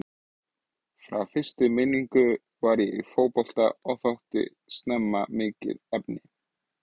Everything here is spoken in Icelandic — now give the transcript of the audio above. Frá fyrstu minningu var ég í fótbolta og þótti snemma mikið efni.